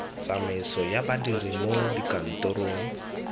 tsamaiso ya badiri mo dikantorong